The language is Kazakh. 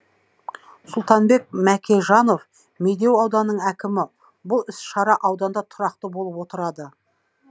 сұлтанбек мәкежанов медеу ауданының әкімі бұл іс шара ауданда тұрақты болып отырады